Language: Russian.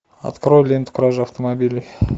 открой ленту кража автомобилей